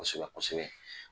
Kosɛbɛ kosɛbɛ